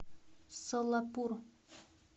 солапур